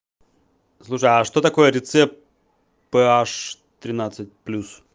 слушай а что такое рецепт п аш тринадцать плюс